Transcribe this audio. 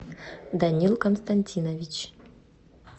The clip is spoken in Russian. данил константинович